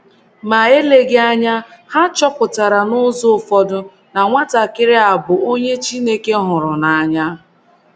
* Ma eleghị anya, ha chọpụtara n’ụzọ ụfọdụ na nwatakịrị a bụ onye Chineke hụrụ n'anya.